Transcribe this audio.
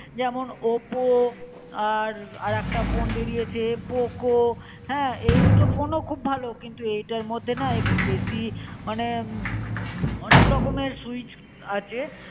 যেমন oppo আর একটা ফোন বেড়িয়ে চে poco হ্যাঁ. এই দুটো ফোন ও খুব ভালো. কিন্তু এটার মধে না একটু বেশি মনে অনেক রকম এর switch আছে